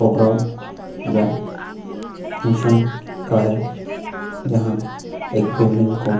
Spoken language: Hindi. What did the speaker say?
प्रोग्राम या फंक्शन का है जहा एक बिल्डिंग को --